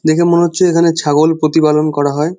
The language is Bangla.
দেখে মনে হচ্ছে এখানে ছাগল প্রতিপালন করা হয়।